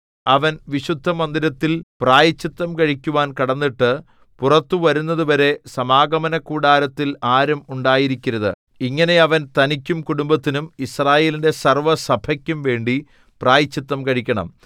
അവൻ വിശുദ്ധമന്ദിരത്തിൽ പ്രായശ്ചിത്തം കഴിക്കുവാൻ കടന്നിട്ട് പുറത്തു വരുന്നതുവരെ സമാഗമനകൂടാരത്തിൽ ആരും ഉണ്ടായിരിക്കരുത് ഇങ്ങനെ അവൻ തനിക്കും കുടുംബത്തിനും യിസ്രായേലിന്റെ സർവ്വസഭയ്ക്കുംവേണ്ടി പ്രായശ്ചിത്തം കഴിക്കണം